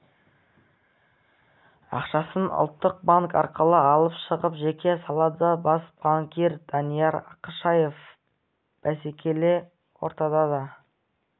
ақшасын ұлттық банк арқылы алып шығып жекеге салады бас банкир данияр ақышев бәсекелі ортада да